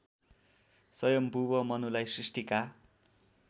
सयम्भुव मनुलाई सृष्टिका